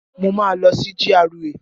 Mo máa lọ sí GRA